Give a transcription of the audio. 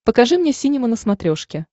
покажи мне синема на смотрешке